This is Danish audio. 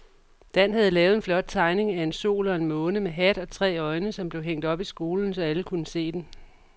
Dan havde lavet en flot tegning af en sol og en måne med hat og tre øjne, som blev hængt op i skolen, så alle kunne se den.